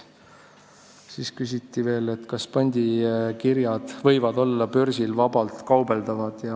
Siis küsiti veel, kas pandikirjadega võib börsil vabalt kaubelda.